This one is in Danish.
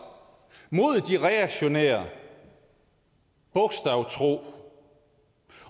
mod de reaktionære bogstavtro